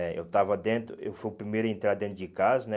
Eh eu estava dentro, eu fui o primeiro a entrar dentro de casa, né?